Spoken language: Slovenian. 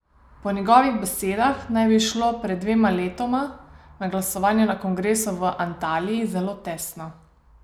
Po njegovih besedah naj bi šlo pred dvema letoma na glasovanju na kongresu v Antaliji zelo tesno.